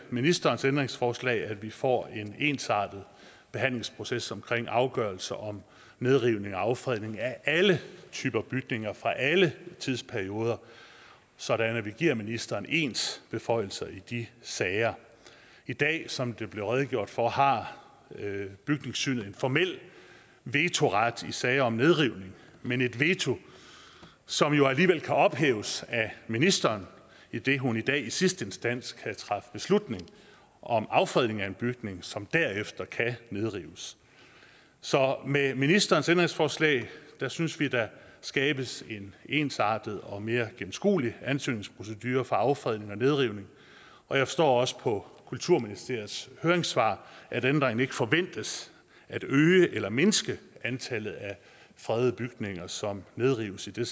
ministerens ændringsforslag at vi får en ensartet forhandlingsproces omkring afgørelser om nedrivning og affredning af alle typer bygninger fra alle tidsperioder sådan at vi giver ministeren ens beføjelser i de sager i dag som der blev redegjort for har bygningssynet en formel vetoret i sager om nedrivning men et veto som jo alligevel kan ophæves af ministeren idet hun i dag i sidste instans kan træffe beslutning om affredning af en bygning som derefter kan nedrives så med ministerens ændringsforslag synes vi der skabes en ensartet og mere gennemskuelig ansøgningsprocedure for affredning og nedrivning og jeg forstår også på kulturministeriets høringssvar at ændringen ikke forventes at øge eller mindske antallet af fredede bygninger som nedrives idet